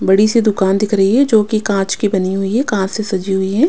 बड़ी सी दुकान दिख रही है जो कि कांच की बनी हुई है कांच से सजी हुई है।